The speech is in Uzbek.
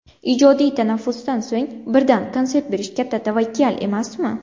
Ijodiy tanaffusdan so‘ng birdan konsert berish katta tavakkal emasmi?